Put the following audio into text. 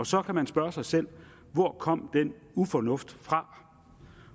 så kan man spørge sig selv hvor kom den ufornuft fra